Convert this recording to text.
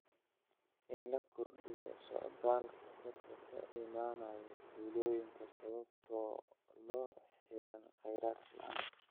In la kordhiyo socdaalka dadka ka imaanaya tuulooyinka sababo la xiriira kheyraad la'aan.